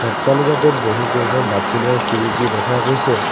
অট্টালিকাটোত বহুকেইখন দাপোনৰ খিৰিকী দেখা গৈছে।